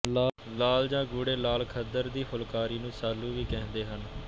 ਲਾਲ ਜਾਂ ਗੂੜੇ ਲਾਲ ਖੱਦਰ ਦੀ ਫੁਲਕਾਰੀ ਨੂੰ ਸਾਲੂ ਵੀ ਕਹਿੰਦੇ ਹਨ